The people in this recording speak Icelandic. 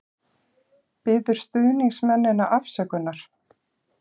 Biður stuðningsmennina afsökunar